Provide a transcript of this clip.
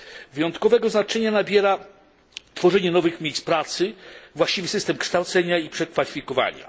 Wyjątkowego znaczenia nabiera tworzenie nowych miejsc pracy, właściwy system kształcenia i przekwalifikowania.